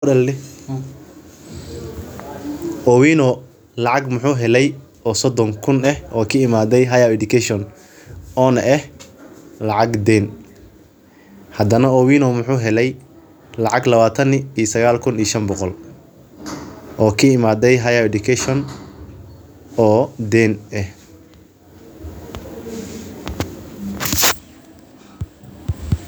Owino lacag maxu hele oo sodan kun eh oo ka imate higher education onah eh lacag den eh hadana maxu xere lacag lawatan iyo shan kun oo ka imate higher education.